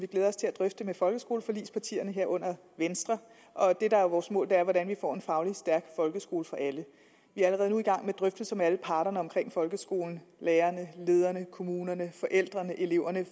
vi glæder os til at drøfte med folkeskoleforligspartierne herunder venstre det der er vores mål er at hvordan vi får en fagligt stærk folkeskole for alle vi er allerede nu i gang med drøftelser med alle parterne om folkeskolen lærerne lederne kommunerne forældrene og eleverne